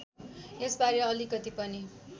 यसबारे अलिकति पनि